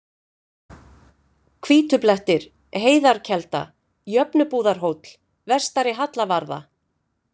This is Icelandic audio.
Hvítublettir, Heiðarkelda, Jöfnubúðarhóll, Vestari-Hallavarða